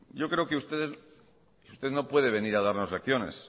yo creo que usted no puede venir a darnos lecciones